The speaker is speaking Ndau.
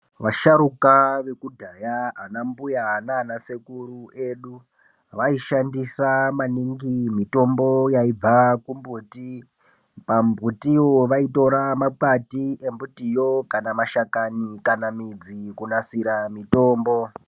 Vasharuka vekudhaya, anambuya nanasekuru edu, vaishandisa maningi mitombo yaibva kumbuti. Pamumbutiwo, vaitora makwati embutiyo kana mashakani kana midzi kunasira mitombo.